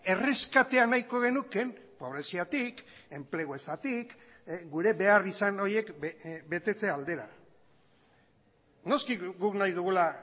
erreskatea nahiko genuke pobreziatik enplegu ezatik gure beharrizan horiek betetze aldera noski guk nahi dugula